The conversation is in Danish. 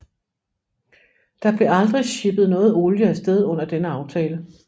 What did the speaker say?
Der blev aldrig shippet noget olie afsted under denne aftale